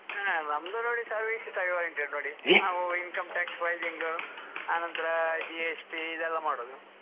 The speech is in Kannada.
ಆಹ್ ನಮ್ದು ನೋಡಿ service oriented ನೋಡಿ ನಾವು income tax filing ಆನಂತರ GST ಇದೆಲ್ಲ ಮಾಡುದು.